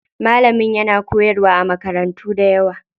Malamin yana koyarwa a makarantu dayawa.